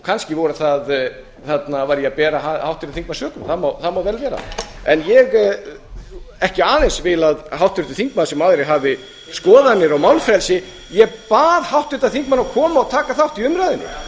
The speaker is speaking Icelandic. kannski var ég að bera háttvirtan þingmann sökum það má vel vera en ég vil ekki aðeins að háttvirtur þingmaður sem aðrir hafi skoðanir og málfrelsi ég bað háttvirtan þingmann að koma og taka þátt í